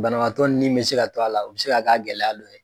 Banabaatɔ ni bɛ se ka to a la, u bɛ se ka kɛ a gɛlɛya don ye.